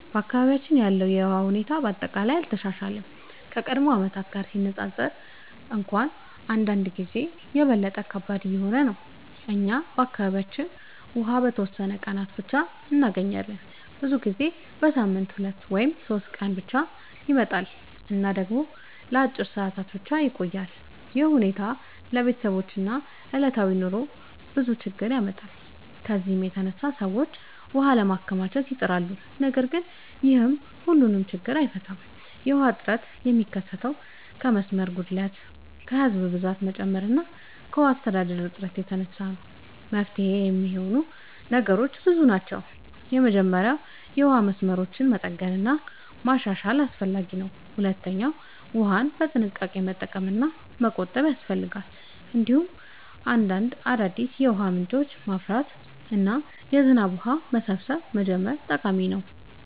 በአካባቢያችን ያለው የውሃ ሁኔታ በአጠቃላይ አልተሻሻለም፤ ከቀድሞ ዓመታት ጋር ሲነፃፀር እንኳን አንዳንድ ጊዜ የበለጠ ከባድ እየሆነ ነው። እኛ በአካባቢያችን ውሃ በተወሰኑ ቀናት ብቻ እንገኛለን፤ ብዙ ጊዜ በሳምንት 2 ወይም 3 ቀን ብቻ ይመጣል እና ደግሞ ለአጭር ሰዓታት ብቻ ይቆያል። ይህ ሁኔታ ለቤተሰቦች እና ለዕለታዊ ኑሮ ብዙ ችግኝ ያመጣል። ከዚህ የተነሳ ሰዎች ውሃ ለማከማቸት ይጥራሉ፣ ነገር ግን ይህም ሁሉን ችግኝ አይፈታም። የውሃ እጥረት የሚከሰተው ከመስመር ጉድለት፣ ከህዝብ ብዛት መጨመር እና ከውሃ አስተዳደር እጥረት የተነሳ ነው። ለመፍትሄ የሚረዱ ነገሮች ብዙ አሉ። መጀመሪያ የውሃ መስመሮችን መጠገን እና ማሻሻል አስፈላጊ ነው። ሁለተኛ ውሃን በጥንቃቄ መጠቀም እና መቆጠብ ያስፈልጋል። እንዲሁም አዲስ የውሃ ምንጮችን ማፍራት እና የዝናብ ውሃ መሰብሰብ መጀመር ጠቃሚ ነው።